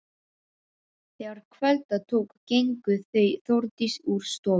Þegar kvölda tók gengu þau Þórdís úr stofu.